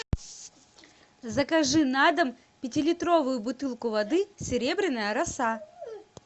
закажи на дом пятилитровую бутылку воды серебряная роса